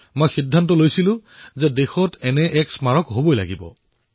মই সিদ্ধান্ত ললো যে দেশত এনে এক স্মাৰক নিশ্চয় থকা উচিত